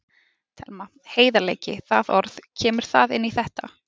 Telma: Heiðarleiki, það orð, kemur það inn í þetta?